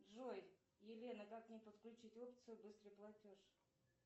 джой елена как мне подключить опцию быстрый платеж